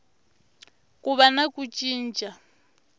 ku va na ku cinca